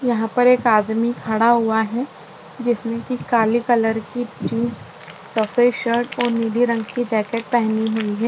यहापर एक आदमी खड़ा हुआ है जिसने की काली कलर की जीन्स सफ़ेद शर्ट और नीली रंग की की जैकेट पहनी हुई है।